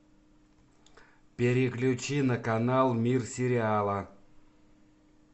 переключи на канал мир сериала